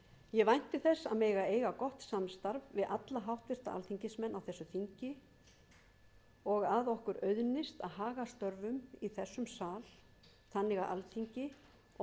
ég vænti þess að mega eiga gott samstarf við alla háttvirta alþingismenn á þessu þingi og að okkur auðnist að haga störfum í þessum sal þannig